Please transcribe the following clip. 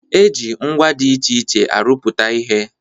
E ji ngwa dị iche iche arụpụta ihe.